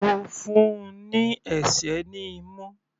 Mo fún un ní ẹ̀sẹ́ ní imú.